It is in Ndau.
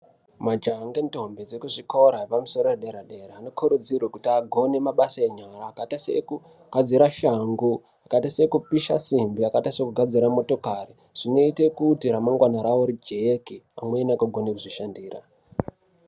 Majaha ngendombi dzekuzvikora zvepamusoro edera dera anokurudzirwe kuti agone mabasa enyara akaita seekugadzira shangu, akaita sekupisha simbi akaita sekugadzira motokari zvinoite kuti ramangwana rawo rijeke pamwe nekugona kuzvishandira.